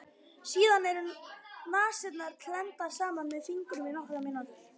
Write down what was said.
Síðan eru nasirnar klemmdar saman með fingrum í nokkrar mínútur.